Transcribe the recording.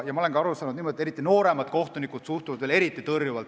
Ma olen aru saanud, et eriti nooremad kohtunikud suhtuvad prokuröridesse veel eriti tõrjuvalt.